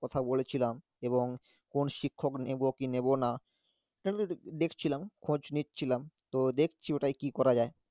কথা বলেছিলাম এবং শিক্ষক নেবো কি নেবো না দেখছিলাম খোঁজ নিচ্ছিলাম তো দেখছি ওটাই কি করা যায়,